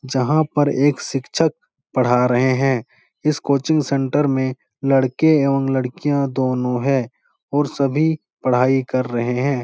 जहाँ पर एक शिक्षक पढ़ा रहे है। इस कोचिंग सेंटर में लड़के एवं लड़कियां दोनों है और सभी पढाई कर रहे है।